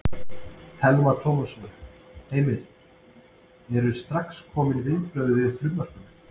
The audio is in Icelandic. Telma Tómasson: Heimir, eru strax komin viðbrögð við frumvarpinu?